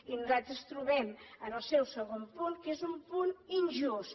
i nosaltres trobem en el seu segon punt que és un punt injust